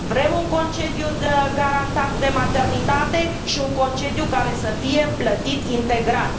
Vrem un concediu garantat de maternitate și un concediu care să fie plătit integral.